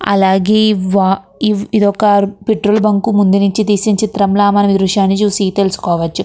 అలగేయ్ మనకు ఇక్కడ ఇది వక పెట్రోల్ లో ఉనది వాటర్ బుంక్ నుచే తీసిన చిస్త్రం లాగా మనకు కనిపెస్తునది ద్రుశము ల తెలుసుకోవచ్చు..